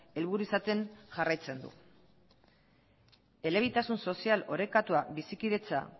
helburu izaten jarraitzen du elebitasun sozial orekatua bizikidetza